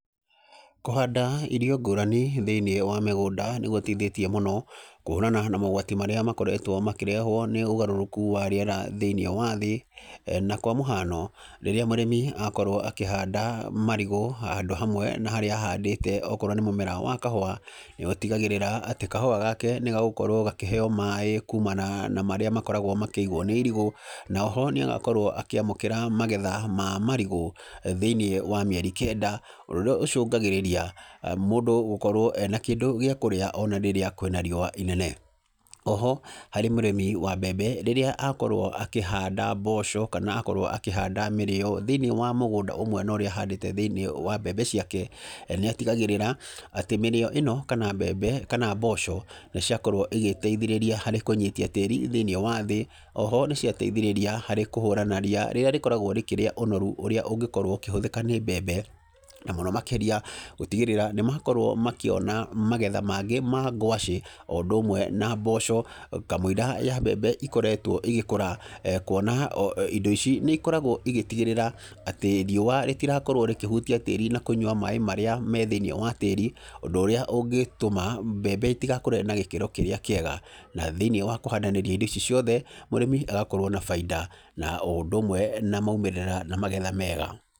Kũhanda irio ngũrani thĩiniĩ wa mĩgũnda nĩ gũteithĩtie mũno, kũhũrana na mogwati marĩa makoretwo makĩrehwo nĩ ũgarũrũku wa rĩera thĩiniĩ wa thĩ. Na kwa mũhano, rĩrĩa mũrĩmi akorwo akĩhanda marigũ handũ hamwe na harĩa ahandĩte okorwo nĩ mũmera wa kahũa, nĩ ũtigagĩrĩra atĩ kahũa gake nĩ gagũkorwo gakĩheo maĩ kumana na marĩa makoragwo makĩigwo nĩ irigũ. Na oho nĩ agakorwo akĩamũkĩra magetha ma marigũ, thĩiniĩ wa mĩeri kenda, ũndũ ũrĩa ũcũngagĩrĩria mũndũ gũkorwo ena kĩndũ gĩa kũrĩa ona rĩrĩa kwĩna riũa inene. Oho, harĩ mũrĩmi wa mbembe, rĩrĩa akorwo akĩhanda mboco, kana akorwo akĩhanda mĩrĩo thĩiniĩ wa mũgũnda ũmwe na ũrĩa ahandĩte thĩiniĩ wa mbembe ciake, nĩ atigagĩrĩra, atĩ mĩrĩo ĩno kana mbembe, kana mboco, nĩ ciakorwo igĩteithĩrĩria harĩ kũnyitia tĩri thĩiniĩ wa thĩ. Oho nĩ ciateithĩrĩria harĩ kũhũrana ria, rĩrĩa rĩkoragwo rĩkĩrĩa ũnoru ũrĩ ũngĩkorwo ũkĩhũthĩka nĩ mbembe. Na mũno makĩria gũtigĩrĩra, nĩ makorwo makĩona magetha mangĩ ma ngwacĩ, o ũndũ ũmwe na mboco, kamũira ya mbembe ikoretwo igĩkũra. Kuona o indo ici nĩ ikoragwo igĩtigĩrĩra atĩ riũa rĩtirakorwo rĩkĩhutia tĩri na kũnyua maĩ marĩa me thĩiniĩ wa tĩri, ũndũ ũrĩa ũngĩtũma mbembe itigakũre na gĩkĩro kĩrĩa kĩega. Na thĩiniĩ wa kũhandanĩria indo ici ciothe, mũrĩmi agakorwo na baida na o ũndũ ũmwe na maumĩrĩra na magetha mega.